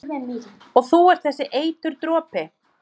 Og þú ert þessi eiturdropi?